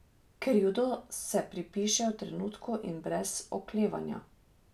Krivdo se pripiše v trenutku in brez oklevanja.